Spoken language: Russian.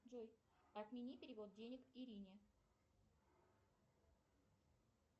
джой отмени перевод денег ирине